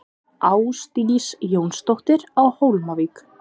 Ásdís Jónsdóttir á Hólmavík